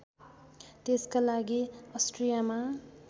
त्यसका लागि अस्ट्रियामा